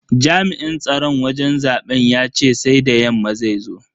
Jami'in tsaron wajen zaben yace sai da yamma zai zo.